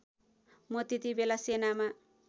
म त्यतिबेला सेनामा